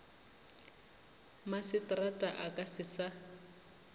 maseterata a ka se sa